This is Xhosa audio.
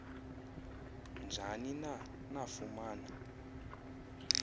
njani na nafumana